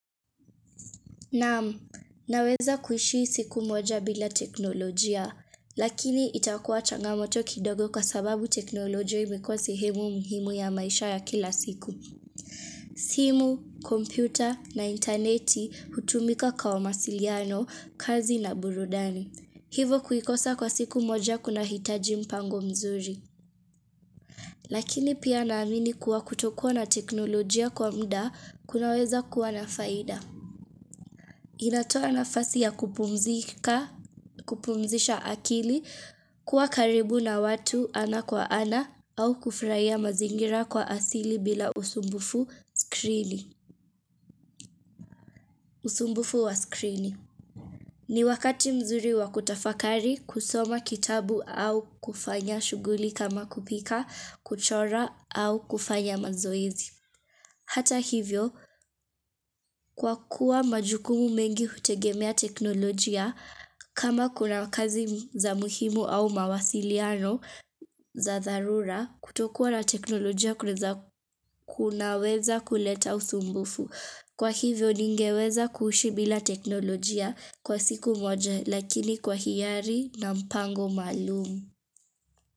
Naam, naweza kuishi siku moja bila teknolojia, lakini itakuwa changamoto kidogo kwa sababu teknolojia imekuwa sehemu muhimu ya maisha ya kila siku. Simu, kompyuta na intaneti hutumika kwa masiliano, kazi na burudani. Hivyo kuikosa kwa siku moja kunahitaji mpango mzuri. Lakini pia naamini kuwa kutokuwa na teknolojia kwa uda kunaweza kuwa na faida. Inatoa nafasi ya kupumzika, kupumzisha akili kuwa karibu na watu ana kwa ana au kufurahia mazingira kwa asili bila usumbufu wa skrini. Ni wakati mzuri wa kutafakari kusoma kitabu au kufanya shughuli kama kupika, kuchora au kufanya mazoezi. Hata hivyo, kwa kuwa majukumu mengi hutegemea teknolojia, kama kuna kazi za muhimu au mawasiliano za dharura, kutokuwa na teknolojia kunaweza kuleta usumbufu. Kwa hivyo, ningeweza kuishi bila teknolojia kwa siku moja, lakini kwa hiari na mpango maalum.